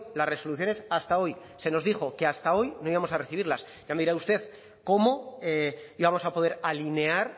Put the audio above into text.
las resoluciones hasta hoy se nos dijo que hasta hoy no íbamos a recibirlas ya me dirá usted cómo íbamos a poder alinear